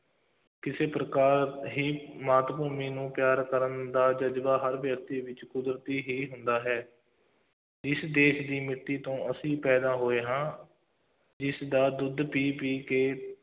ਕਿਸੇ ਪ੍ਰਕਾਰ ਦੀ ਮਾਤ ਭੂਮੀ ਨੂੰ ਪਿਆਰ ਕਰਨ ਦਾ ਜ਼ਜ਼ਬਾ ਹਰ ਵਿਅਕਤੀ ਵਿੱਚ ਕੁਦਰਤੀ ਹੀ ਹੁੰਦਾ ਹੈ ਇਸ ਦੇਸ਼ ਦੀ ਮਿੱਟੀ ਤੋਂ ਅਸੀਂ ਪੈਦਾ ਹੋਏ ਹਾਂ, ਇਸਦਾ ਦੁੱਧ ਪੀ ਪੀ ਕੇ,